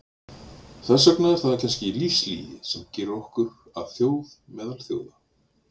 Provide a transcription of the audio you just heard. Þess vegna er það kannski lífslygi sem gerir okkur að þjóð meðal þjóða.